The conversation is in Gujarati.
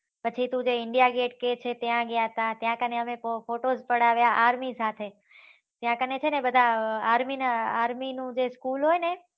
પછી તું જે india gate કેહ છે ને ત્યાં ગયા તા ત્યાં કાણે અમે photos પડાવ્યા army સાથે ત્યાં કાણે છે ને બધા army ના army નું જે school હોય ને